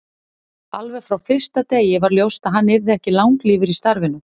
Alveg frá fyrsta degi var ljóst að hann yrði ekki langlífur í starfinu.